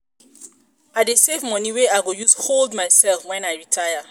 i dey save moni wey i go use hold mysef wen i retire.